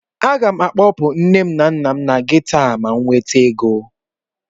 Aga m akpọpụ nne na nna m na geto a ma m nweta ego